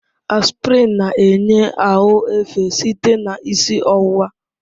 Aspirin na-enye ahụ efe site na isi ọwụwa.